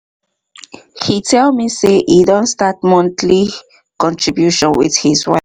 he tell me say he don start monthly contribution with his wife